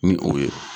Ni o ye